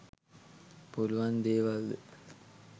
පුළුවන් දේවල්ද?